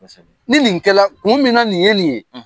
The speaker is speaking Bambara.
Ni non kɛla kun min na nin ye nin ye